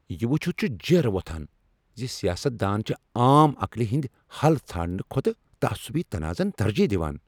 یہ وُچھِتھ چھُ جیرٕ وۄتھان ز سیاست دان چھ عام عقلہِ ہندِۍ حل ژھانٛڑنہٕ کھوتہٕ تعصُبی تنازعن ترجیح دِوان۔